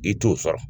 I t'o sɔrɔ